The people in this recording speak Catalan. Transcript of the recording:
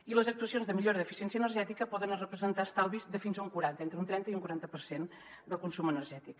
i les actuacions de millora d’eficiència energètica poden representar estalvis de fins a un quaranta entre un trenta i un quaranta per cent del consum energètic